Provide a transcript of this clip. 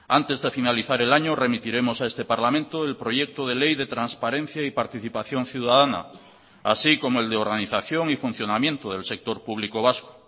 antes de finalizar el año remitiremos a este parlamento el proyecto de ley de transparencia y participación ciudadana así como el de organización y funcionamiento del sector público vasco